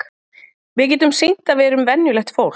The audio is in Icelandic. Við getum sýnt að við erum venjulegt fólk.